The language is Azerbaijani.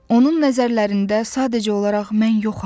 Onun nəzərlərində sadəcə olaraq mən yoxam.